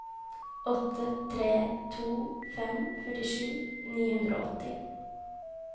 åtte tre to fem førtisju ni hundre og åtti